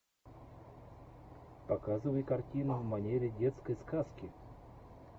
показывай картину в манере детской сказки